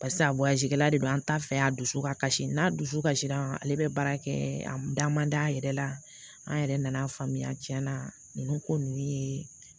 Barisa de don an ta fɛ a dusu ka kasi n'a dusu kasira ale bɛ baara kɛ a da man d'a yɛrɛ la an yɛrɛ nan'a faamuya tiɲɛ na ninnu ko ninnu ye